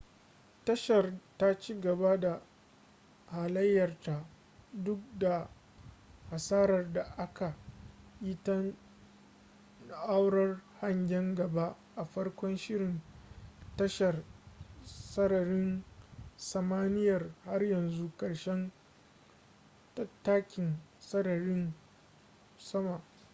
tashar ta cigaba da halayyarta duk da hasarar da aka yi ta na'urar hangen gaba a farkon shirin tashar sararin samaniyar har zuwa karshen tattakin sararin sama